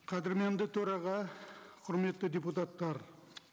қадірменді төраға құрметті депутаттар